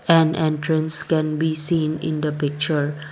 an entrance can be seen in the picture.